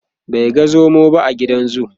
bai ga zomo ba a gidan zoo